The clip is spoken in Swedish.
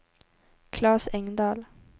Klas Engdahl